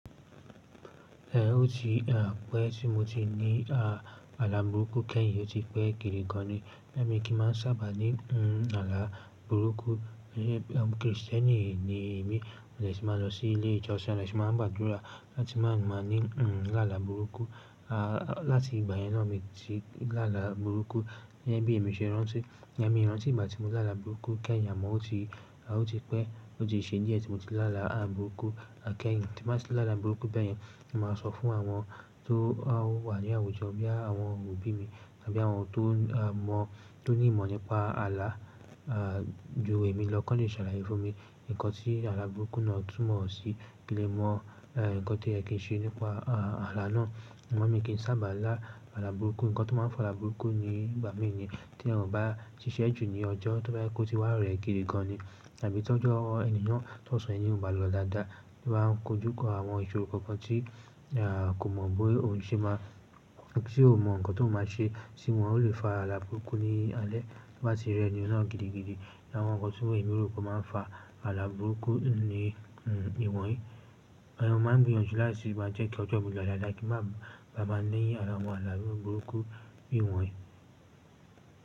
Ẹ ó ti, à, pẹ́ tí mo ti ní, à, àlà burúkú kẹ́yìn ó ti pẹ́ gidi gan ni. Ẹ̀ mi kí n máa sábà ní, àlà burúkú, Kristẹni ni èmi mo dẹ́ ṣì máa n lọ sí ilé ìjọsìn, mo dẹ́ ṣì máa ń gbàdúrà láti má maa ní mo n làálà burúkú. À, láti ìgbà yẹn naa mi n ti lààla burúkú gẹ́gẹ́ bí èmi ṣe rántí. Ẹ̀mi o rántí ìgbà tí mo láàlá burúkú kẹ́yìn àmọ́ ó ti, a ó ti pẹ́, ó ti ṣe díẹ̀ tí mo ti láàlá, a, burúkú, a, kẹ́yìn. Tí n bá ti láàlá burúkú bẹ̀ yẹn, mo maà sọ fún àwọn tó, a, wà ní àwùjọ bí àwọn òbí mi tàbí àwọn tó, a, mọ̀, tó ní ìmọ̀ nípa àlà ju èmi lọ, kón le salaye fun mi nǹkan tí àlà burúkú náà túmọ̀ sí kí lè mọ, ẹ, nǹkan tí o yẹ kì í ṣe nípa, a, àlà náà. Sugbon mi kí n sábà lá àlà burúkú, nǹkan tó máa ń fa àlà burúkú ní ìgbà mí ì ni tí ẹeyan bá ṣiṣẹ́ jù ní ọjọ́, tó bá jẹ pe ó ti wà rẹ̀ gidi gan ni tàbí tọjọ́ ọ ènìyàn ti osan ẹni òun o bá lọ dáadáa, tó bá ń kojú kọ àwọn ìṣòro kankan tí, a, kò mọ̀ bi óun ṣe máa-- tí ò mọ̀ nǹkan tó oun máa ṣe, tí won le fa àlà burúkú ní alẹ́ to bá ti rẹ́ eni náà gidigidi. Awọn nǹkan tí emi rò pé ó máa ń fa àlà burúkú ní, nìwọ̀nyí. Ẹ̀n mo màá gbìyànjú láti maa jẹ́ kí ọjọ́ mi lọ dáadáa kí màá ba maa ní àwọn àlà burúkú bìwọ̀nyí.